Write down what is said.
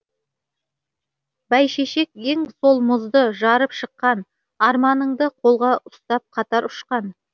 бәйшешек ең сол мұзды жарып шыққан арманыңды қолға ұстап қатар ұшқан